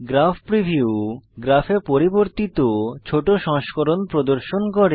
graph preview গ্রাফে পরিবর্তিত ছোট সংস্করণ প্রদর্শন করে